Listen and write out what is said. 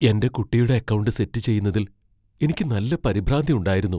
എന്റെ കുട്ടിയുടെ account set ചെയ്യുന്നതിൽ എനിക്ക് നല്ല പരിഭ്രാന്തി ഉണ്ടായിരുന്നു .